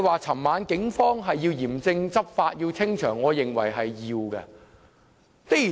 昨晚警方嚴正執法和清場，我認為是必要的。